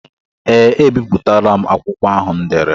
Ee ebipụtala m akwụkwọ ahụ m dere.